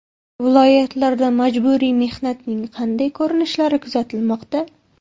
Viloyatlarda majburiy mehnatning qanday ko‘rinishlari kuzatilmoqda?.